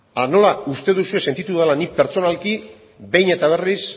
nola uste duzue sentitu dela ni pertsonalki behin eta berriz